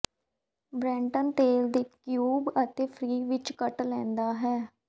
baton ਤੇਲ ਦੇ cube ਅਤੇ ਫ੍ਰੀ ਵਿਚ ਕੱਟ ਲੈਂਦਾ ਹੈ